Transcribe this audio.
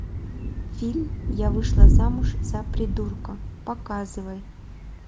фильм я вышла замуж за придурка показывай